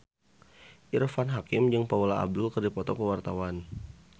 Irfan Hakim jeung Paula Abdul keur dipoto ku wartawan